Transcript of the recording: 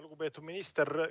Lugupeetud minister!